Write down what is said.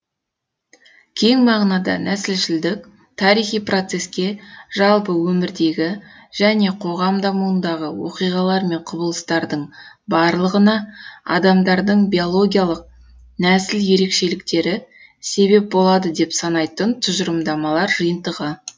кең мағынада нәсілшілдік тарихи процеске жалпы өмірдегі және қоғам дамуындағы оқиғалар мен құбылыстардың барлығына адамдардың биологиялық нәсіл ерекшеліктері себеп болады деп санайтын тұжырымдамалар жиынтығы